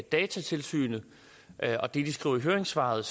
datatilsynet og det de skriver i høringssvaret